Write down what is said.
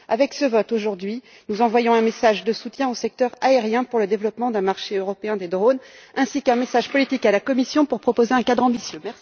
Avec le vote d'aujourd'hui, nous envoyons un message de soutien au secteur aérien pour le développement d'un marché européen des drones, ainsi qu'un message politique à la Commission pour proposer un cadre ambitieux.